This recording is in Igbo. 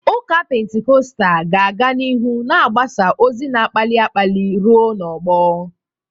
Ụka Pentikọstal ga-aga n'ihu na-agbasa ozi na-akpali akpali ruo n'ọgbọ.